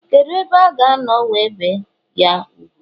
kedu ebe a ga no we bee ?ya úgwù